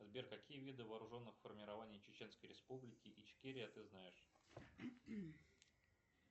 сбер какие виды вооруженных формирований чеченской республики ичкерия ты знаешь